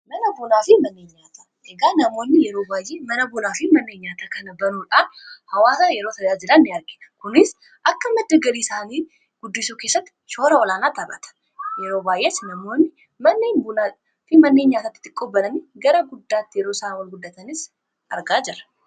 Mana bunaa fi manneen nyaata eegaa namoonni yeroo baayee mana bunaafii manneen nyaata kana banuudhaan hawaasa yeroo tajaajilaa in gargara. kunis akka madda galii isaanii guddisuu keessatti shoora olaanaa taphata yeroo baayyees namoonni mana buna fi manneen nyaataatti gara guddaatti yeroo isaa ol guddatanis argaa jira.